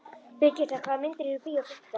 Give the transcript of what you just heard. Brigitta, hvaða myndir eru í bíó á fimmtudaginn?